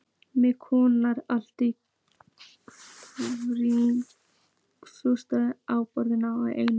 Miði kom allt í einu fljúgandi á borðið hjá Erni.